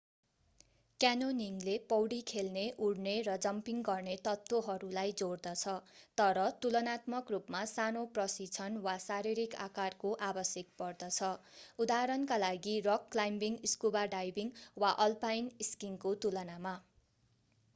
क्यान्योनिङले पौडी खेल्ने उड्ने र जम्पिङ गर्ने तत्त्वहरूलाई जोड्दछ - तर तुलनात्मक रूपमा सानो प्रशिक्षण वा शारीरिक आकारको आवश्यक पर्दछ उदाहरणका लागि रक क्लाइम्बिङ स्कुबा डाइभिङ वा अल्पाइन स्किइङको तुलनामा।